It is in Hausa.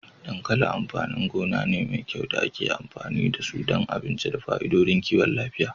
Dankali amfanin gona ne mai kai da ake amfani da su don abinci da fa'idodin kiwon lafiya.